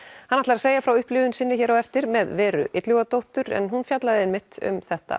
hann ætlar að segja frá upplifun sinni hér á eftir með Veru en hún fjallaði einmitt um þetta